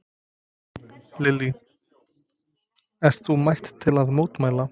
Lillý: Ert þú mætt til að mótmæla?